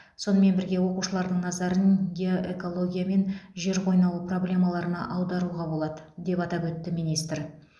сонымен бірге оқушылардың назарын геоэкология мен жер қойнауы проблемаларына аударуға болады деп атап өтті министр